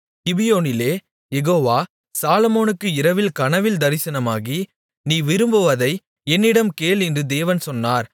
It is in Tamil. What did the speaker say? கிபியோனிலே யெகோவா சாலொமோனுக்கு இரவில் கனவில் தரிசனமாகி நீ விரும்புவதை என்னிடம் கேள் என்று தேவன் சொன்னார்